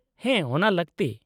-ᱦᱮᱸ, ᱚᱱᱟ ᱞᱟᱹᱠᱛᱤ ᱾